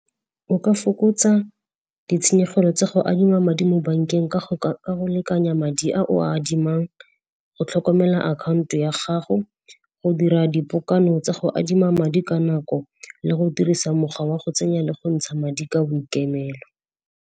O ka fokotsa ditshenyegelo tsa go adima madi mo bankeng ka go lekalekanya madi a o adimang, go tlhokomela akhaonto ya gago, go dira dipokano tsa go adima madi ka nako le go dirisa mokgwa wa go tsenya le go ntsha madi ka boikemelo.